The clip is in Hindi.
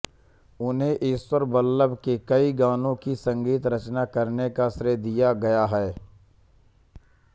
उन्हें ईश्वरबल्लभ के कई गानों की संगीत रचना करने का श्रेय दिया गया है